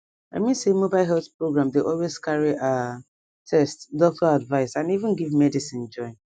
i mean say mobile health program dey always carry ah test doctor advice and even give medicine join